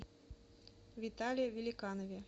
витале великанове